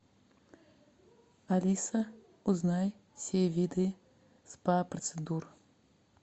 алиса узнай все виды спа процедур